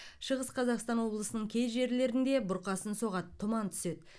шығыс қазақстан облысының кей жерлерінде бұрқасын соғады тұман түседі